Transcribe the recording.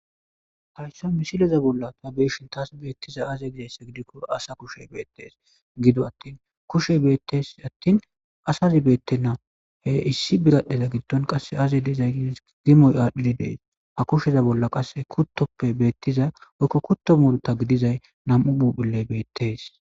hayssoy misileza bolla ta beeshin taas beettiza aze gizayssa gidikko asa kushe beettees gido attin kushe beettes attin asazi beette na he issi biradhdheza gitton qasse aze dezay gides gimoy aadhdhidi dees ha kusheza bolla qasse kuttoppe beettiza oykko kutto murta gidizay nam7u buphilley beettes